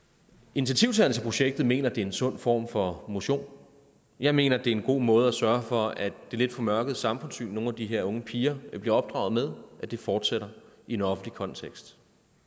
initiativtagerne til projektet mener at det er en sund form for motion jeg mener det er en god måde at sørge for at det lidt formørkede samfundssyn som nogle af de her unge piger bliver opdraget med fortsætter i en offentlig kontekst